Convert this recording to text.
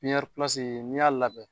n'i y'a labɛn